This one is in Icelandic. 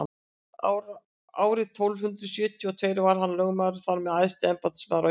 árið tólf hundrað sjötíu og tveir varð hann lögmaður og þar með æðsti embættismaður á íslandi